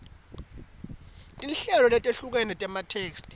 tinhlobo letehlukene tematheksthi